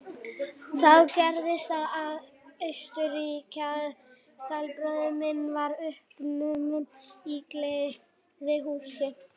Þá gerðist það í Austurríki að stallbróðir minn varð uppnuminn í gleðihúsi.